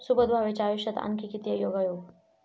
सुबोध भावेच्या आयुष्यात आणखी किती योगायोग?